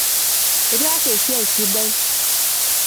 Itaasa esiai sidai.